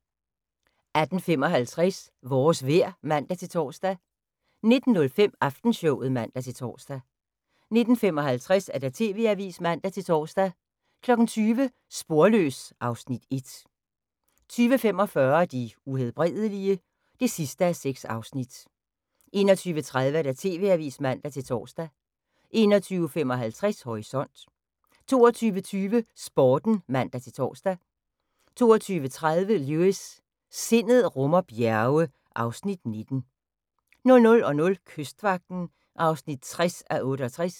18:55: Vores vejr (man-tor) 19:05: Aftenshowet (man-tor) 19:55: TV-avisen (man-tor) 20:00: Sporløs (Afs. 1) 20:45: De Uhelbredelige? (6:6) 21:30: TV-avisen (man-tor) 21:55: Horisont 22:20: Sporten (man-tor) 22:30: Lewis: Sindet rummer bjerge (Afs. 19) 00:00: Kystvagten (60:68)